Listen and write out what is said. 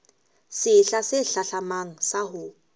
sehla se hlahlamang sa ho